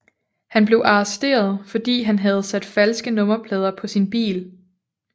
Han blev arresteret fordi han havde sat falske nummerplader på sin bil